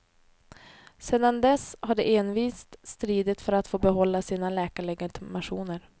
Sedan dess har de envist stridit för att få behålla sina läkarlegitimationer.